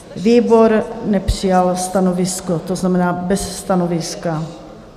Výbor nepřijal stanovisko, to znamená bez stanoviska.